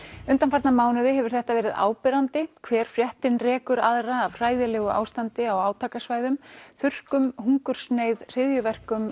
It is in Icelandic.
undanfarna mánuði hefur þetta verið áberandi hver fréttin rekur aðra af hræðilegu ástandi á átakasvæðum þurrkum hungursneyð hryðjuverkum